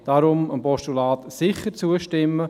Deshalb: Dem Postulat sicher zustimmen.